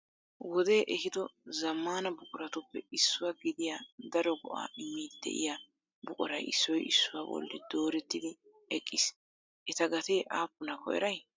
Wode ehiddo zammana buquratuppe issuwaa gidiyaa daro go"a immiidi de'iya buquray issoy issuwaa bolli doorettidi eqqiis. Eta gateeka aappunalo eray?